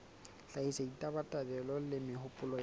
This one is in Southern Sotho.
hlahisa ditabatabelo le mehopolo ya